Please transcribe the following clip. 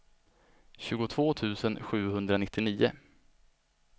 tjugotvå tusen sjuhundranittionio